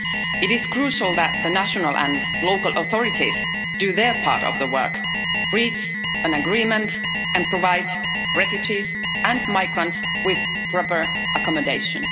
It is crucial that the national and local authorities do their part of the work reach an agreement and provide refugees and migrants with proper accommodation.